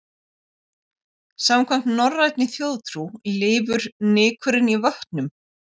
Samkvæmt norrænni þjóðtrú lifur nykurinn í vötnum.